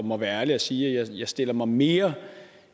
må være ærlig at sige at jeg stiller mig mere